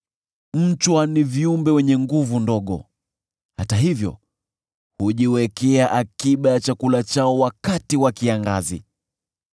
Mchwa ni viumbe wenye nguvu ndogo, hata hivyo hujiwekea akiba ya chakula chao wakati wa kiangazi.